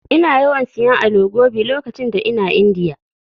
Ina yawan siyan Alo Gobi lokacin da ina Indiya.